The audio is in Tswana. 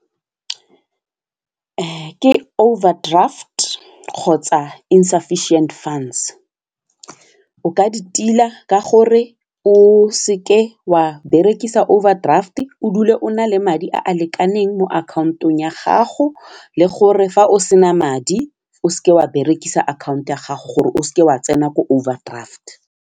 Ke overdraft kgotsa insufficient funds o ka di tila ka gore o seke wa berekisa overdraft o dule o na le madi a a lekaneng mo akhaontong ya gago le gore fa o sena madi o seke wa berekisa akhanto ya gago gore o seke wa tsena ko overdraft.